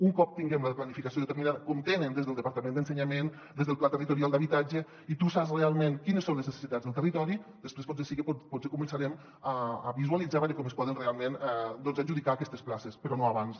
un cop tinguem la planificació determinada com tenen des del departament d’educació des del pla territorial d’habitatge i tu saps realment quines són les ne·cessitats del territori després potser sí que començarem a visualitzar com es poden realment adjudicar aquestes places però no abans